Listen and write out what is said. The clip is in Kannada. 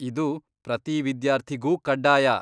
ಇದು ಪ್ರತೀ ವಿದ್ಯಾರ್ಥಿಗೂ ಕಡ್ಡಾಯ.